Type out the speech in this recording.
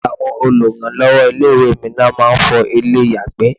Àwọn oluranlowo ilé-ìwé mi ló máa ń fọ ilé-iyagbe.